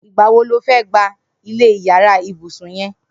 Nigbà wó ló fẹ̀ gbá ilẹ iyàrá ibùsùn yèn